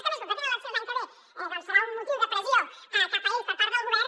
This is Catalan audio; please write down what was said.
que a més com que ja tenen eleccions l’any que ve doncs serà un motiu de pressió cap a ells per part del govern